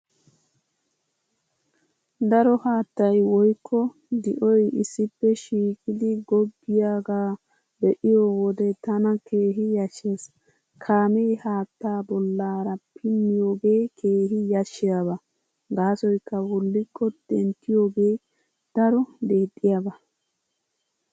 Daro haattay woykko di'oy issippe shiiqidi goggiyaagaa be'iyo wode tana keehi yashshees. Kaamee haattaa bollaara pinniyoogee keehi yashshiyaaba gaasoykka wullikko denttiyoogee daro deexxiyaaba.